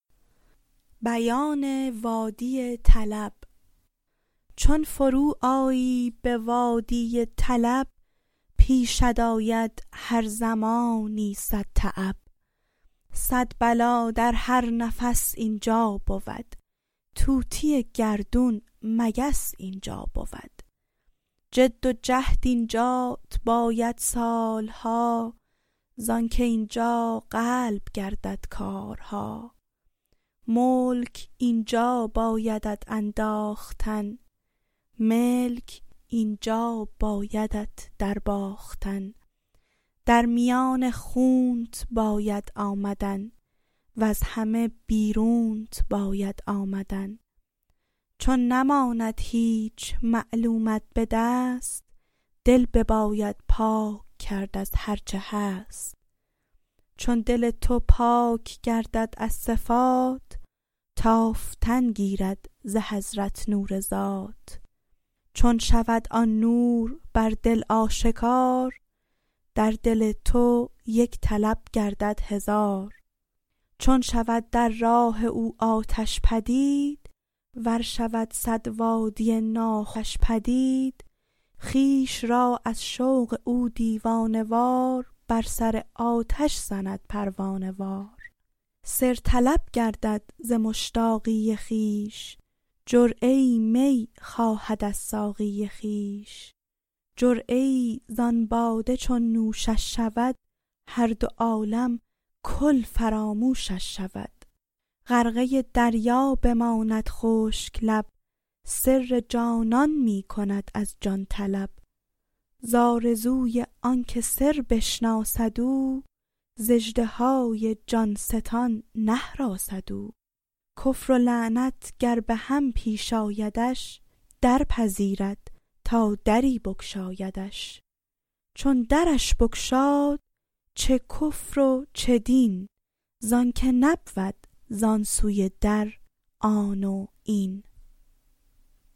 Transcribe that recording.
چون فرو آیی به وادی طلب پیشت آید هر زمانی صدتعب صد بلا در هر نفس اینجا بود طوطی گردون مگس اینجا بود جد و جهد اینجات باید سال ها زآن که اینجا قلب گردد حال ها ملک اینجا بایدت انداختن ملک اینجا بایدت در باختن در میان خونت باید آمدن وز همه بیرونت باید آمدن چون نماند هیچ معلومت به دست دل بباید پاک کرد از هرچه هست چون دل تو پاک گردد از صفات تافتن گیرد ز حضرت نور ذات چون شود آن نور بر دل آشکار در دل تو یک طلب گردد هزار چون شود در راه او آتش پدید ور شود صد وادی ناخوش پدید خویش را از شوق او دیوانه وار بر سر آتش زند پروانه وار سر طلب گردد ز مشتاقی خویش جرعه ای می خواهد از ساقی خویش جرعه ای ز آن باده چون نوشش شود هر دو عالم کل فراموشش شود غرقه دریا بماند خشک لب سر جانان می کند از جان طلب ز آرزوی آن که سربشناسد او ز اژدهای جان ستان نهراسد او کفر و ایمان گر به هم پیش آیدش درپذیرد تا دری بگشایدش چون درش بگشاد چه کفر و چه دین زانک نبود زان سوی در آن و این